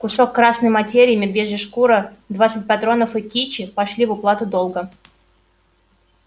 кусок красной материи медвежья шкура двадцать патронов и кичи пошли в уплату долга